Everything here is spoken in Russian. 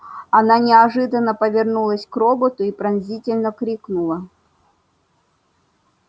она неожиданно повернулась к роботу и пронзительно крикнула